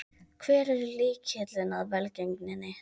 Hver er lykillinn að velgengninni?